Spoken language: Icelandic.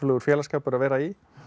félagsskapur að vera í